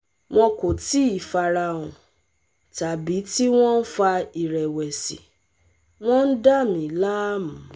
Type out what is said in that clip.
Wọn kò tíì fara hàn, tàbí tí wọ́n ń fa ìrẹ̀wẹ̀sì, wọ́n ń dà mí láàmú